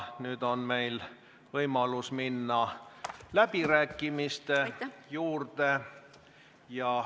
Nüüd on meil võimalus minna läbirääkimiste juurde.